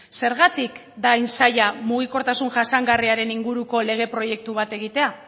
zergatik da hain zaila mugikortasun jasangarriaren inguruko lege proiektu bat egitea